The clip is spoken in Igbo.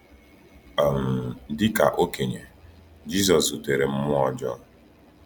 um Dị ka okenye, Jisọs zutere mmụọ ọjọọ.